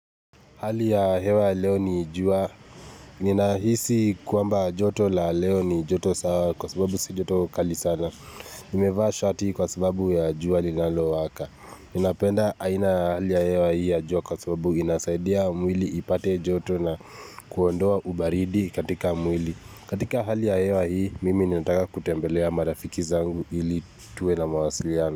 Hali ya hewa leo ni jua, ninaisi kwamba joto la leo ni joto sawa kwa sababu si joto kali sana. Nimevaa shati kwa sababu ya jua linalo waka. Ninapenda aina hali ya hewa hii ya jua kwa sababu inasaidia mwili ipate joto na kuondoa ubaridi katika mwili. Katika hali ya hewa hii, mimi ninataka kutembelea marafiki zangu ili tuwe na mawasiliano.